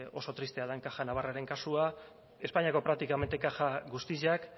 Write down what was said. oso tristea den caja navarraren kasua espainiako praktikamente kaja guztiak